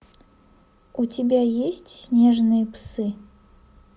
у тебя есть снежные псы